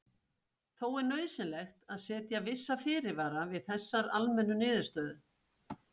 Þó er nauðsynlegt að setja vissa fyrirvara við þessari almennu niðurstöðu.